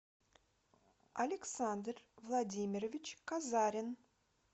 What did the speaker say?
александр владимирович казарин